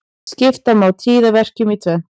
Skipta má tíðaverkjum í tvennt.